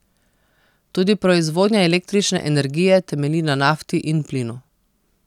Tudi proizvodnja električne energije temelji na nafti in plinu.